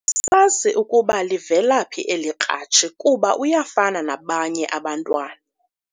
Asazi ukuba livelaphi eli kratshi kuba uyafana nabanye abantu.